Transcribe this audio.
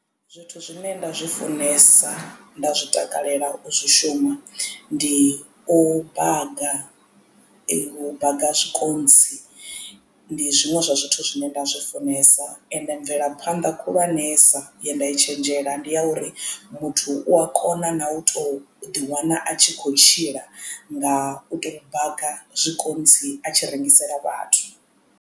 Zwithu zwine nda zwi funesa nda zwi takalela u zwi shuma ndi u baga u baga zwikontsi ndi zwiṅwe zwa zwithu zwine nda zwi funesa ende mvelaphanḓa khulwanesa ye nda i tshenzhela ndi ya uri muthu u a kona na u to ḓi wana a tshi khou tshila nga u to baga zwikontsi a tshi rengisela vhathu.